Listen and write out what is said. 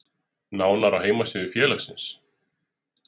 Nánar á heimasíðu félagsins